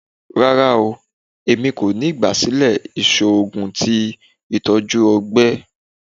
Rara, Emi ko ni igbasilẹ iṣoogun ti itọju ọgbẹ